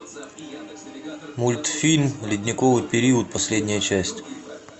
мультфильм ледниковый период последняя часть